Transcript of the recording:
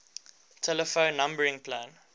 telephone numbering plan